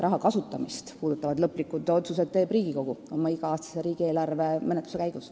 Raha kasutamist puudutavad lõplikud otsused teeb Riigikogu iga-aastase riigieelarve menetluse käigus.